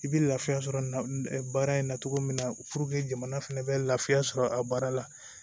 I bɛ lafiya sɔrɔ baara in na cogo min na jamana fɛnɛ bɛ lafiya sɔrɔ a baara la